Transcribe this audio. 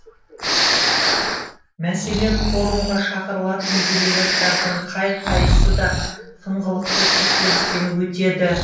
мәселен форумға шақырылатын делегаттардың қай қайсы да тыңғылықты тексерістен өтеді